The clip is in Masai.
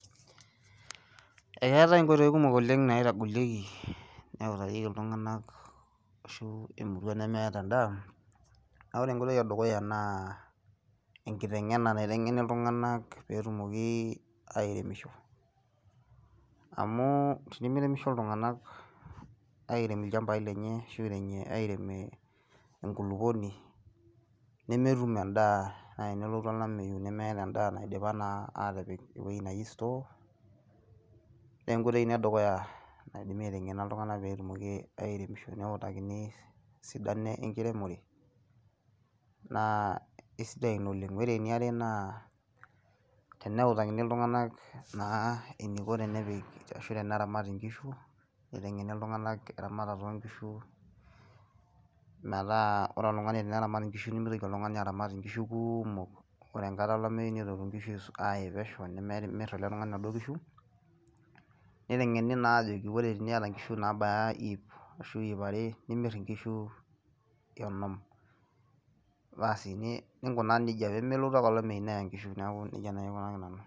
Eetai ingoitoi kumok naitagolieki neutarieki iltung'anak ashu emurua nemeeta en'daa, naa ore enkoitoi edukuya naa engiteng'ena naitengeni iltung'anak peetumoki airemisho amu tenimiremisho iltung'anak airem ilchambai lenje ashu airem enkulukuoni nemetum en'daa tenelotu olameyu nemetum endaa naidim nai atipik ewueji neji sitoo neengoitoi ina edukuya naidimi aiteng'ena iltung'anak peetumoki airemisho neutakini esidano enkiremore naa isidai ina oleng Ore eniare naa teneutakini iltung'anak eniko peepik ashu teneramat ingishu naitengeni iltung'anak eramatats oongishu metaa ore oltung'ani teneramat ingishu nimitoki oltung'ani aramat ingishu kuumok ore enkata olameyu nitoki ingishu aaye pesho emir oladuo tungani naduo kishu niteng'eni naa ajoki ore teniata inkishu nabaya ip ashu ip are nimir ingishu onom Basi ningunaa nija pee melotu ake olameyu neya ngishu